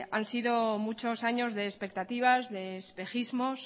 han sido muchos años de expectativas de espejismos